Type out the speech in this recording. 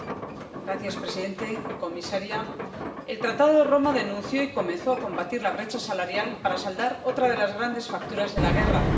Señor presidente, señora comisaria, el Tratado de Roma denunció y comenzó a combatir la brecha salarial para saldar otra de las grandes facturas de la guerra.